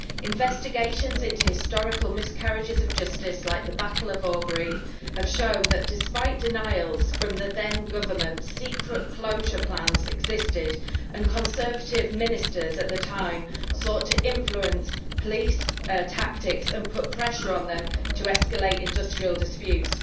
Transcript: Investigations into historical miscarriages of justice, like the battle of Orgreave, have shown that, despite denials from the then government, secret closure plans existed and Conservative ministers at the time sought to influence police tactics and put pressure on them to escalate industrial disputes.